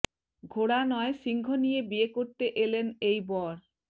ঘোড়া নয় সিংহ নিয়ে বিয়ে করতে এলেন এই বর